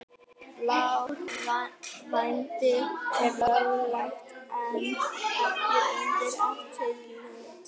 Blár: Vændi er löglegt en ekki undir eftirliti.